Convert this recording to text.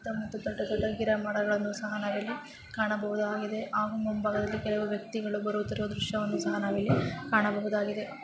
ದೂಡ್ಡ ದೊಡ್ಡ ಗಿಡ ಮರಗಳನ್ನು ಸಹ ನಾವಿಲ್ಲಿ ಕಾಣಬಹುದಾಗಿದೆ ಆಗೂ ಮುಂಭಾಗದಲ್ಲಿ ಕೆಲವು ವ್ಯಕ್ತಿಗಳು ಬರುತ್ತಿರುವ ದೃಶ್ಯವನ್ನೂ ಸಹಾ ನಾವಿಲ್ಲಿ ಕಾಣಬಹುದಾಗಿದೆ.